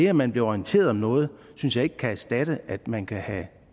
at man bliver orienteret om noget synes jeg ikke kan erstatte at man kan have